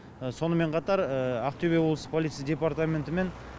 сонымен қатар ақтөбе облыстық полиция департаментімен